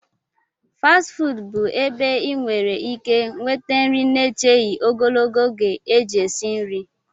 fasti fuudu bụ ebe ị nwere ike nweta nri na-echeghị ogologo oge eji esi nri